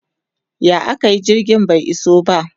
ya akayi jirgin bai iso ba?